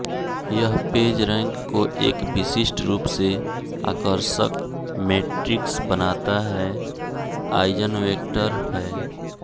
यह पेजरैंक को एक विशिष्ट रूप से आकर्षक मेट्रिक्स बनाता है आइजन्वेक्टर है